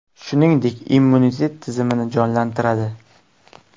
Shuningdek, immunitet tizmini jonlantiradi.